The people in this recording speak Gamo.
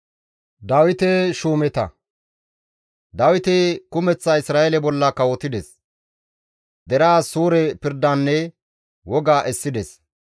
Dawiti kumeththa Isra7eele bolla kawotides; deraas suure pirdanne woga essides.